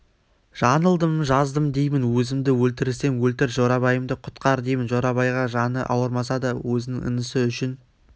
жаңылдым жаздым деймін өзімді өлтірсең өлтір жорабайымды құтқар деймін жорабайға жаны ауырмаса да өзінің інісі үшін